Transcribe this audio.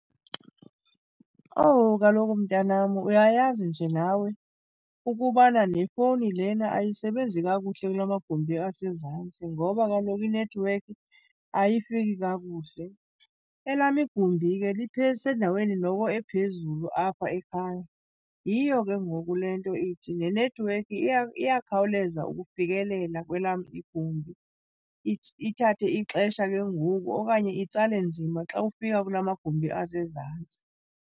Owu, kaloku mntanam, uyayazi nje nawe ukubana nefowuni lena ayisebenzi kakuhle kula magumbi asezantsi ngoba kaloku iinethiwekhi ayifiki kakuhle. Elam igumbi ke lisendaweni noko ephezulu apha ekhaya, yiyo ke ngoku le nto ithi nenethiwekhi iyakhawuleza ukufikelela kwelam igumbi ithathe ixesha ke ngoku okanye itsale nzima xa kufika kula magumbi asezantsi.